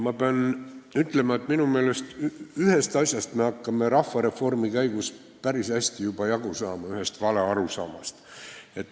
Ma pean ütlema, et minu meelest me hakkame ühest asjast, ühest valearusaamast rahvareformi käigus juba päris hästi jagu saama.